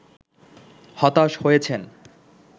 হতাশ হয়েছেন